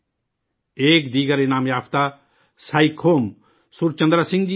ایک دوسرے انعام یافتہ سائیکھم سرچندر سنگھ جی ہیں